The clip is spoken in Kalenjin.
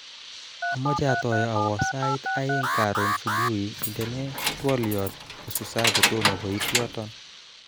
Amache atoi awo sait aeng karon subui indenee twoliot nususaa kutomo koiti yoton